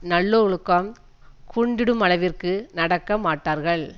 நல்லொழுக்கம் குன்றிடுமளவிற்கு நடக்க மாட்டார்கள்